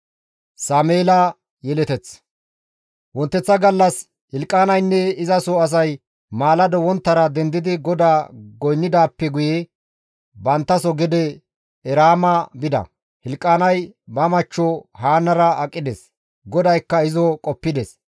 Wonteththa gallas Hilqaanaynne izaso asay maalado wonttara dendidi GODAA goynnidaappe guye banttaso gede Eraama bida; Hilqaanay ba machcho Haannara aqides; GODAYKKA izo qoppides.